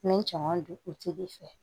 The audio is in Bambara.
N bɛ cɛman don fɛ